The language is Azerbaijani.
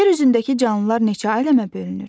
Yer üzündəki canlılar neçə aləmə bölünür?